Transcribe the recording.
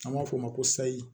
An b'a fɔ o ma ko sayi